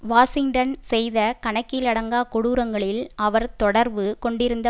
Washington செய்த கணக்கிலடங்கா கொடூரங்களில் அவர் தொடர்பு கொண்டிருந்த